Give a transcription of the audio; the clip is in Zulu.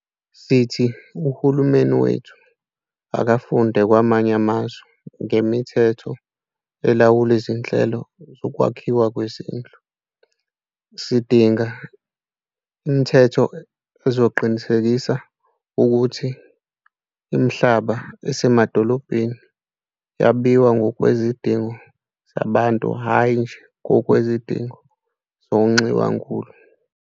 Sithi uhulumeni wethu akafunde kwamanye amazwe ngemithetho elawula izinhlelo zokwakhi wa kwezindlu. Sidinga imithetho ezoqin isekisa ukuthi imihlaba esemadolobheni yabiwa ngokwezidingo zabantu hayi nje ngokwezidingo zongxiwankulu.